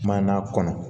Maana kɔnɔ